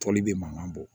Tɔli bɛ mankan bɔ